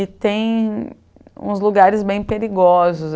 E tem uns lugares bem perigosos.